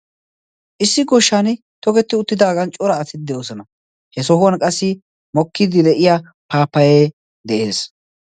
issi goshshan tokketti uttidaagan cora atiddi oosona. he sohuwan qassi mokkiiddi de7iya paapayee de7ees.